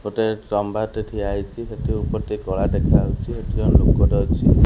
ଗୋଟିଏ ଚମ୍ଭାର ଟେ ଠିଆ ହେଇଚି ସେଠି ଉପରେ ଟେ କଳା ଦେଖାଯାଉଚି ଏଠି ଜଣେ ଲୋକଟେ ଅଛି।